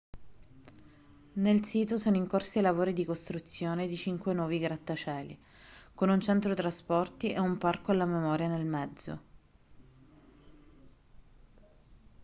nel sito sono in corso i lavori di costruzione di cinque nuovi grattacieli con un centro trasporti e un parco alla memoria nel mezzo